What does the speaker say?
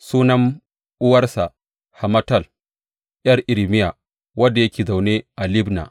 Sunan uwarsa Hamutal, ’yar Irmiya, wanda yake zaune a Libna.